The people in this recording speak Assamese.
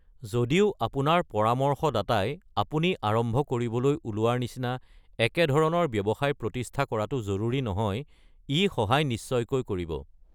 যদিও আপোনাৰ পৰামৰ্শদাতাই আপুনি আৰম্ভ কৰিবলৈ ওলোৱাৰ নিচিনা একে ধৰণৰ ব্যৱসায় প্ৰতিষ্ঠা কৰাটো জৰুৰী নহয়, ই সহায় নিশ্চয়কৈ কৰিব।